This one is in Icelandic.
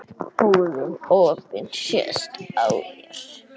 Búðin opin sést á þér.